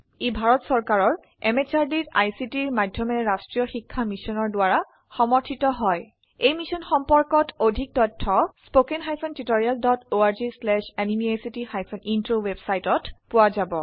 ই ভাৰত চৰকাৰৰ MHRDৰ ICTৰ মাধয়মেৰে ৰাস্ত্ৰীয় শিক্ষা মিছনৰ দ্ৱাৰা সমৰ্থিত হয় এই মিশ্যন সম্পৰ্কত অধিক তথ্য spoken hyphen tutorial dot org slash এনএমইআইচিত হাইফেন ইন্ট্ৰ ৱেবচাইটত পোৱা যাব